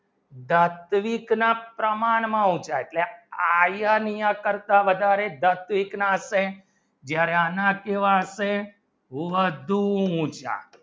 દસવીક ના પ્રમાણ હું થાય iron ના કરતા વધારે દસવીક ના શે ભવન શું હશે બધું ઊંચા